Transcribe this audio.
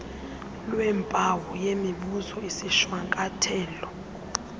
lweempawu yemibuzo izishwankathelo